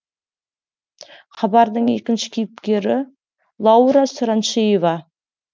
хабардың екінші кейіпкері лаура сұраншиева